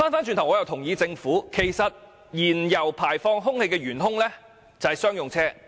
其實，我也同意政府所指，車輛排放的原兇是商用車。